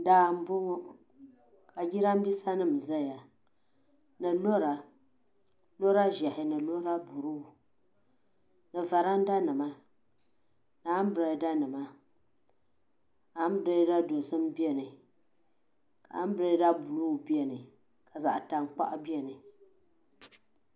Daa m boŋɔ ka jirambisa nima zaya ni lora lora ʒehi ni lora buluu ni varanda nima ni ambirada nima ambirada dozim biɛni ambirada buluu biɛni ka zaɣa tankpaɣu biɛni.